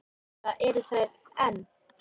Eða eru þar enn.